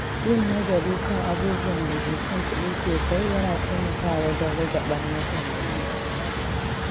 Yin nazari kan abubuwan da ke cin kuɗi sosai yana taimakawa wajen rage ɓarnatarwa.